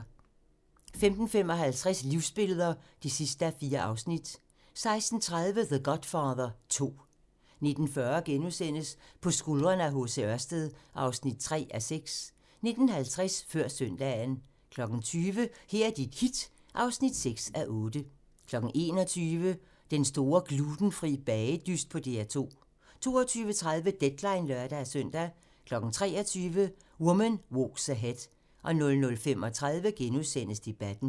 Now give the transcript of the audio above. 15:55: Livsbilleder (4:4) 16:30: The Godfather 2 19:40: På skuldrene af H. C. Ørsted (3:6)* 19:50: Før søndagen 20:00: Her er dit hit (6:8) 21:00: Den store glutenfri bagedyst på DR2 22:30: Deadline (lør-søn) 23:00: Woman Walks Ahead 00:35: Debatten *